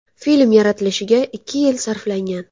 Film yaratilishiga ikki yil sarflangan.